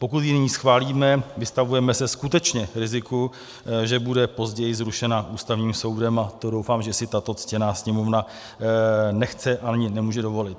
Pokud ji nyní schválíme, vystavujeme se skutečně riziku, že bude později zrušena Ústavním soudem, a to doufám, že si tato ctěná Sněmovna nechce, ani nemůže dovolit.